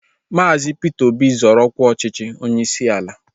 Maazi Peter Obi zoro ọkwa ọchịchị onyeisi ala